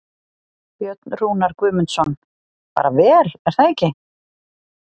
Björn Rúnar Guðmundsson: Bara vel er það ekki?